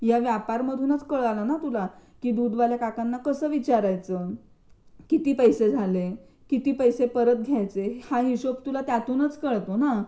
या व्यापार मधूनच कळालं ना तुला की दूध वाल्या काकांना कसं विचारायचं? किती पैसे झाले? किती पैसे परत घ्यायचे? हा हिशोब तुला त्यातूनच कळतो ना?